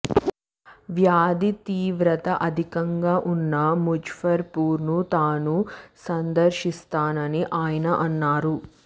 వ్యాధి తీవ్రత అధికంగా ఉన్న ముజఫర్ పూర్ ను తాను సందర్శిస్తానని ఆయన అన్నారు